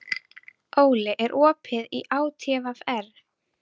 Óli, er opið í ÁTVR?